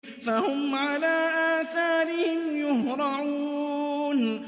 فَهُمْ عَلَىٰ آثَارِهِمْ يُهْرَعُونَ